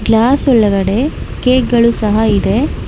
Glass ಒಳಗಡೆ cake ಗಳು ಸಹ ಇದೆ.